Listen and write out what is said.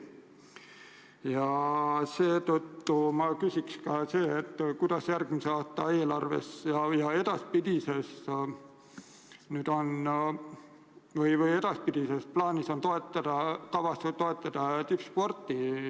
Seetõttu ma küsin, kuidas järgmise aasta eelarvega ja edaspidigi on kavas toetada tippsporti.